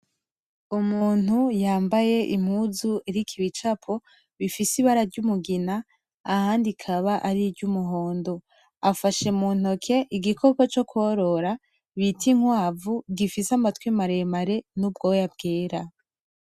Umuntu yambaye impuzu iriko ibicapo bifise ibara ry'umugina ahandi kaba ari ry'umuhondo. Afashe muntoke igikoko co kworora citwa inkwavu gifise amatwi maremare n'ubwoya bwera.